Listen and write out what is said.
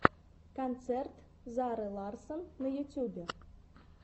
концерт зары ларссон на ютубе